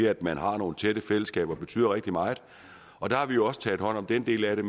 at man har nogle tætte fællesskaber betyder rigtig meget og der har vi jo også taget hånd om den del af det